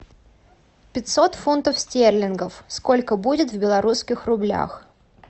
пятьсот фунтов стерлингов сколько будет в белорусских рублях